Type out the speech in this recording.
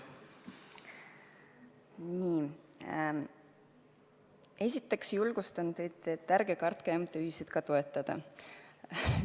Esiteks ma julgustan teid, et ärge kartke MTÜ-sid toetada.